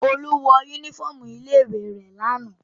Olú wọ únífọ́ọ́mù ilé-ìwé rẹ̀ lánàá.